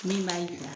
Min b'a yira